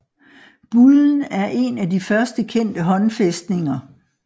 Bullen er en af de først kendte håndfæstninger